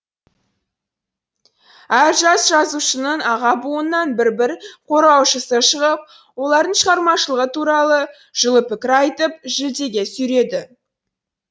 әр жас жазушының аға буыннан бір бір қорғаушысы шығып олардың шығармашылығы туралы жылы пікір айтып жүлдеге сүйреді